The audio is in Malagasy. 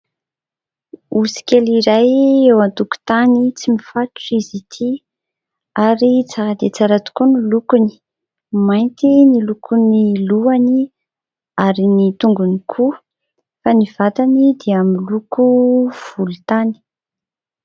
Osy kely iray eo an-tokotany, tsy mifatotra izy ity ary tsara dia tsara tokoa ny lokony, mainty ny lokon'ny lohany ary ny tongony koa fa ny vatany dia miloko volontany.